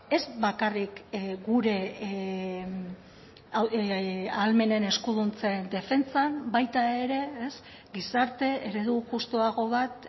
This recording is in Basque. ez bakarrik gure ahalmenen eskuduntzen defentsan baita ere gizarte eredu justuago bat